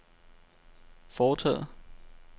foretaget